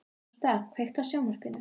Martha, kveiktu á sjónvarpinu.